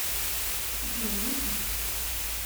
джой выпьем